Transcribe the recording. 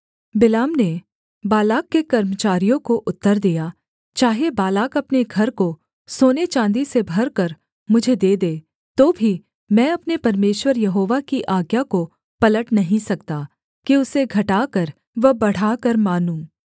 बिलाम ने बालाक के कर्मचारियों को उत्तर दिया चाहे बालाक अपने घर को सोने चाँदी से भरकर मुझे दे दे तो भी मैं अपने परमेश्वर यहोवा की आज्ञा को पलट नहीं सकता कि उसे घटाकर व बढ़ाकर मानूँ